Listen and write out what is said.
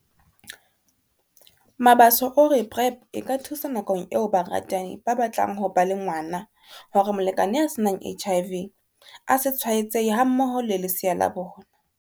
Mabaso o re PrEP e ka thusa nakong eo baratani ba batlang ho ba le ngwana hore molekane ya se nang HIV a se tshwaetsehe hammoho le lesea la bona.